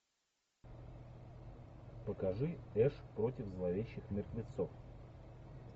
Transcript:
покажи эш против зловещих мертвецов